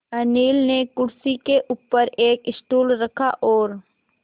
अनिल ने कुर्सी के ऊपर एक स्टूल रखा और